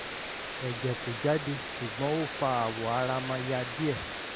ẹ̀jẹ̀ kò jáde ṣùgbọ́n ó fa awọ ara ma ya díẹ̀